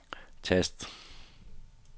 tast